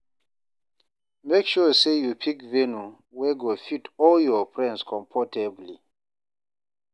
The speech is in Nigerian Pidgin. Make sure say you pick venue wey go fit all your friends comfortably